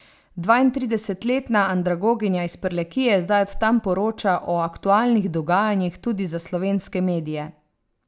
Dvaintridesetletna andragoginja iz Prlekije zdaj od tam poroča o aktualnih dogajanjih tudi za slovenske medije.